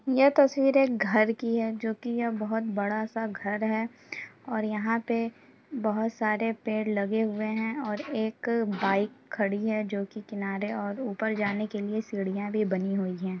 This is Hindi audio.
यह तस्वीर एक घर की हैजो कि यह बहुत बड़ा-सा घर है और यहाँ पे बहुत सारे पेड़ लगे हुए हैं और एक बाइक खड़ी हैजो कि किनारे और ऊपर जाने के लिए सीढ़िया भी बनी हुई ।